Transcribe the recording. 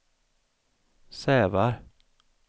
Sävar